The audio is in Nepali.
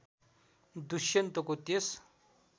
दुष्यन्तको त्यस